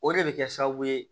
O de bɛ kɛ sababu ye